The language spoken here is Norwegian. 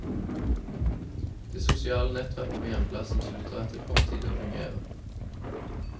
Det sosiale nettverket på hjemplassen slutter etter kort tid å fungere.